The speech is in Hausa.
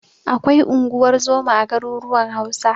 Akwai unguwar zoma a garuruwan Hausa.